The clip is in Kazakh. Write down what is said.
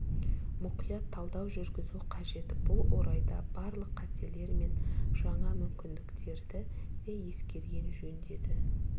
мұқият талдау жүргізу қажет бұл орайда барлық қатерлер мен жаңа мүмкіндіктерді де ескерген жөн деді